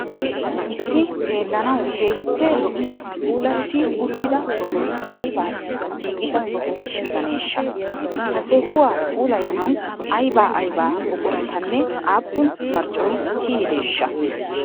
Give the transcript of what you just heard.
Issi xeellanawu keehippe lo'iya puulatti uttida sohoy aybaassi giigida soho gidaneeshsha? Ha sohuwa puulayanawu ayba ayba buquratanne aappun marccoy kiyideeshsha?